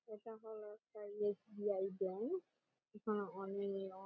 এটা হলো একটা এস.বি.আই ব্যাঙ্ক । এখানে অনে অ--